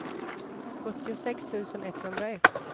sjuttiosex tusen etthundraett